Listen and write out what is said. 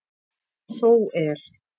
Þó er.